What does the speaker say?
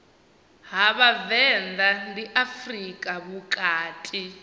ha vhavenḓa ndi afrika vhukati